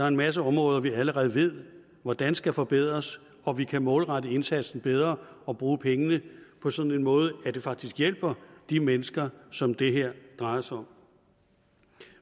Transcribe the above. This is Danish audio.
en masse områder vi allerede ved hvordan skal forbedres og vi kan målrette indsatsen bedre og bruge penge på sådan en måde at det faktisk hjælper de mennesker som det her drejer sig om